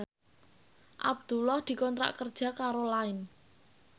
Abdullah dikontrak kerja karo Line